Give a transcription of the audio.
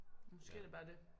Måske er det bare det